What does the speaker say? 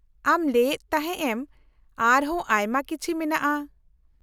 -ᱟᱢ ᱞᱟᱹᱭ ᱮᱫ ᱛᱟᱦᱮᱸ ᱮᱢ ᱟᱨᱦᱚᱸ ᱟᱭᱢᱟ ᱠᱤᱪᱷᱤ ᱢᱮᱱᱟᱜᱼᱟ ?